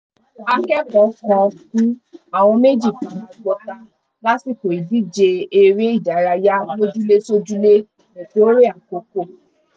akẹ́kọ̀ọ́ kan kù àwọn méjì fara gbọta lásìkò ìdíje eré ìdárayá olójúlé sójúlé nìkórè àkókò